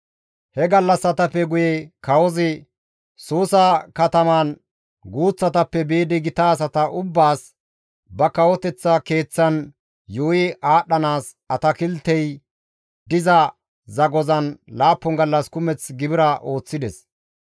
He gallassatappe guye kawozi Suusa kataman guuththatappe biidi gita asata ubbaas, ba kawoteththa keeththan, yuuyi aadhdhanaas atakiltey diza zagozan 7 gallas kumeth gibira ooththides.